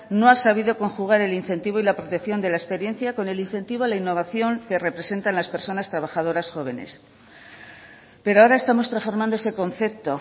no ha sabido conjugar el incentivo y la protección de la experiencia con el incentivo a la innovación que representa las personas trabajadoras jóvenes pero ahora estamos transformando ese concepto